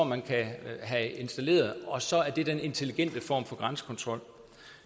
man kan have installeret og så tror man det er den intelligente form for grænsekontrol